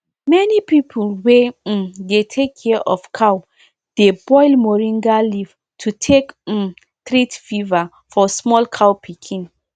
many people wey um dey take care of cow dey boil moringa leaf to take um treat fever for small cow pikin